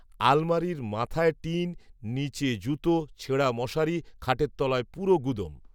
আলমারির মাথায় টিন, নিচে জুতো, ছেঁড়া মশারি, খাটের তলায় পুরো গুদোম!